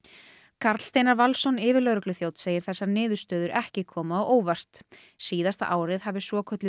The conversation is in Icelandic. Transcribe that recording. Karl Steinar Valsson yfirlögregluþjónn segir þessar niðurstöður ekki koma á óvart síðasta árið hafi svokölluð